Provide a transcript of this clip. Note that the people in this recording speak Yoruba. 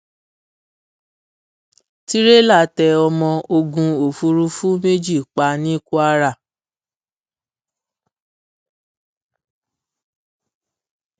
tìrẹlà tẹ ọmọ ogun òfurufú méjì pa ní kwara